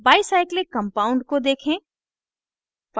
bicyclic compound को देखें